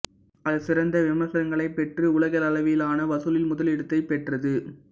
அது சிறந்த விமர்சனங்களைப் பெற்று உலகளவிலான வசூலில் முதலிடத்தைப் பெற்றது